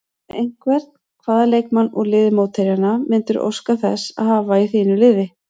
Ef einhvern, hvaða leikmann úr liði mótherjanna myndirðu óska þess að hafa í þínu liði?